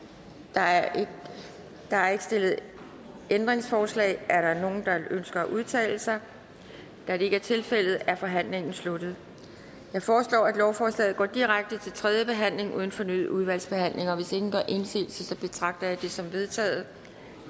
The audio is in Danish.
der er der er ikke stillet ændringsforslag er der nogen der ønsker at udtale sig da det ikke er tilfældet er forhandlingen sluttet jeg foreslår at lovforslaget går direkte til tredje behandling uden fornyet udvalgsbehandling hvis ingen gør indsigelse betragter jeg det som vedtaget